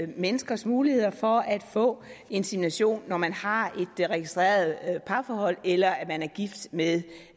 menneskers muligheder for at få insemination når man har et registreret parforhold eller er gift med